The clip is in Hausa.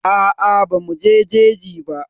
Aa bamu je jeji ba.